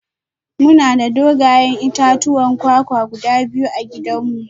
Muna da dogayen itatuwan kwakwa guda biyu a gidanmu